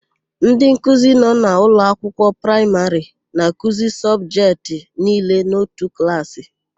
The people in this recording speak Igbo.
Ndịnkuzi nọ n'ụlọakwụkwọ praịmarị na-akuzi sọbjetị niile n'otu klaasị.